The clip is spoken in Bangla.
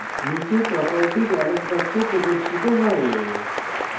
নীচে property dialog box প্রদর্শিত হয়